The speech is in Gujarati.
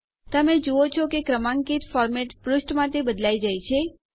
તમે જુઓ છો કે ક્રમાંકિત ફોર્મેટ પુષ્ઠ માટે બદલાઈ જાય છે